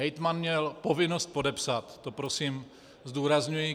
Hejtman měl povinnost podepsat, to prosím zdůrazňuji.